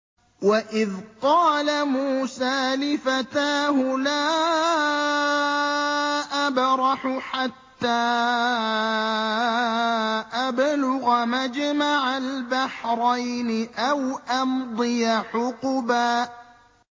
وَإِذْ قَالَ مُوسَىٰ لِفَتَاهُ لَا أَبْرَحُ حَتَّىٰ أَبْلُغَ مَجْمَعَ الْبَحْرَيْنِ أَوْ أَمْضِيَ حُقُبًا